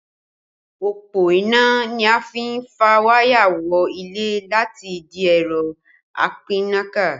Òpó iná ni a fi n fà wáyà wọ ilé láti ìdí ẹ̀rọ apínnáká